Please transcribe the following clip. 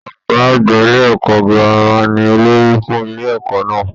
Ọgá àgbà ilé ẹ̀kọ́ gírámà ní olórí fún ilé ẹ̀kọ́ náà.